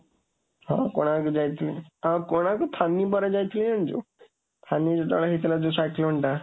ହଁ, କୋଣାର୍କ ଯାଇଥିଲି, କୋଣାର୍କ ଫନି ପରେ ଯାଇଥିଲି, ଜାଣିଛୁ? ଫନି ଯେତେବେଳେ ହେଇଥିଲା ଯୋଉ cyclone ଟା।